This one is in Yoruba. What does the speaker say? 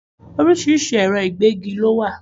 Orísìírísìí ẹ̀rọ ìgégi lo wà